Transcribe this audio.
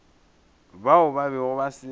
bao ba bego ba se